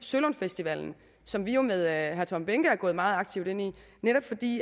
sølund festival som vi jo med herre tom behnke er gået meget aktivt ind i netop fordi